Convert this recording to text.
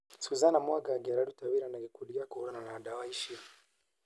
Susana Mwangangi araruta wĩra na gikundi gĩa kũhũranana na dawa icio